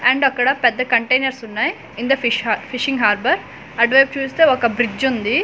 And అక్కడ పెద్ద containers ఉన్నాయి in the fish fishing harbour అటువైపు చూస్తే ఒక బ్రిడ్జ్ ఉంది.